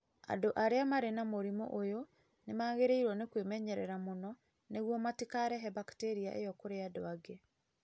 Andũ arĩa marĩ na mũrimũ ũyũ nĩ magĩrĩirwo nĩ kwĩmenyerera mũno nĩguo matikarehe bakteria ĩyo kũrĩ andũ angĩ.